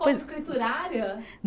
Como escriturária?